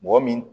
Mɔgɔ min